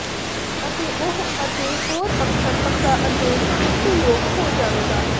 ਅਤੇ ਉਹ ਅਤੇ ਹੋਰ ਅੱਖਰ ਪੱਕਾ ਅਤੇ ਭਰੋਸੇਯੋਗ ਹੋ ਜਾਵੇਗਾ